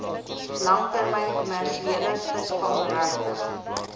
langtermyn kommersiële visvangregte